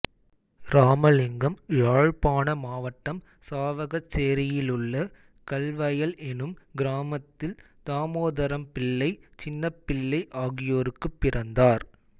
இராமலிங்கம் யாழ்ப்பாண மாவட்டம் சாவகச்சேரியிலுள்ள கல்வயல் எனும் கிராமத்தில் தாமோதரம்பிள்ளை சின்னப்பிள்ளை ஆகியோருக்குப் பிறந்தார்